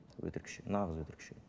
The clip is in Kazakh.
өтірікші нағыз өтірікші